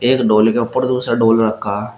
एक ढोल के उपर दूसरा ढोल रखा--